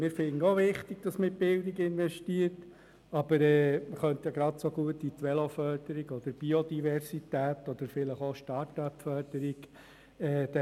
Wir finden es auch wichtig, dass man in die Bildung investiert, aber man könnte genauso gut in die Veloförderung oder die Biodiversität oder vielleicht auch in die Startup-Förderung investieren.